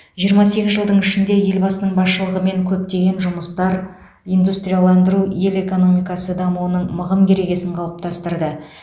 жиырма сегіз жылдың ішінде елбасының басшылығымен көптеген жұмыстар индустрияландыру ел экономикасы дамуының мығым керегесін қалыптастырды